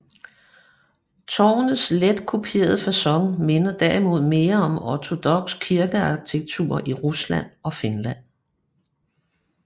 Tårnets let kuplede facon minder derimod mere om ortodoks kirkearkitektur i Rusland og Finland